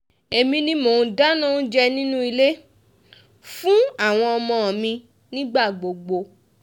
èmi ni mò ń dáná oúnjẹ nínú ilé fún àwọn ọmọ mi nígbà gbogbo